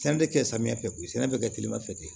Sɛnɛ bɛ kɛ samiyɛ fɛ sɛnɛ bɛ kɛ telima fɛ ye